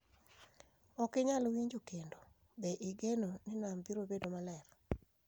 Ok inyal winjo kendo Be igeno ni nam biro bedo maler?